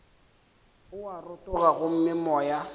o a rotoga gomme moya